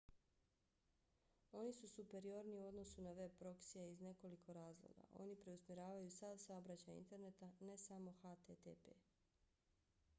oni su superiorniji u odnosu na veb proksija iz nekoliko razloga: oni preusmjeravaju sav saobraćaj interneta ne samo http